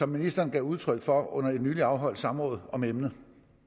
ministeren gav udtryk for under et nylig afholdt samråd om emnet